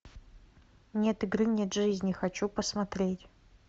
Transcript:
нет игры нет жизни хочу посмотреть